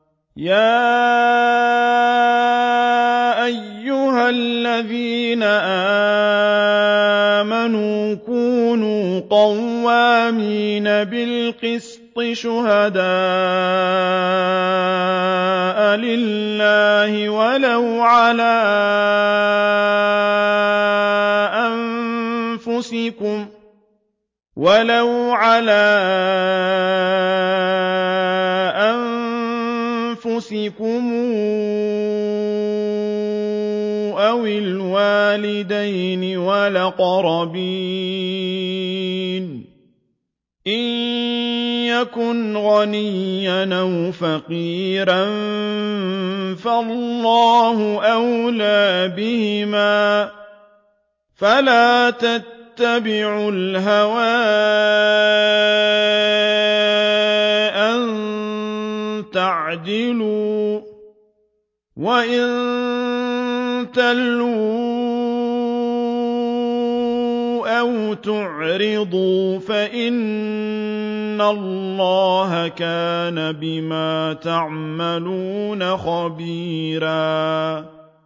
۞ يَا أَيُّهَا الَّذِينَ آمَنُوا كُونُوا قَوَّامِينَ بِالْقِسْطِ شُهَدَاءَ لِلَّهِ وَلَوْ عَلَىٰ أَنفُسِكُمْ أَوِ الْوَالِدَيْنِ وَالْأَقْرَبِينَ ۚ إِن يَكُنْ غَنِيًّا أَوْ فَقِيرًا فَاللَّهُ أَوْلَىٰ بِهِمَا ۖ فَلَا تَتَّبِعُوا الْهَوَىٰ أَن تَعْدِلُوا ۚ وَإِن تَلْوُوا أَوْ تُعْرِضُوا فَإِنَّ اللَّهَ كَانَ بِمَا تَعْمَلُونَ خَبِيرًا